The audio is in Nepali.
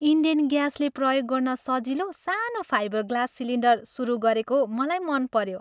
इन्डेन ग्यासले प्रयोग गर्न सजिलो सानो फाइबर ग्लास सिलिन्डर सुरु गरेको मलाई मनपऱ्यो।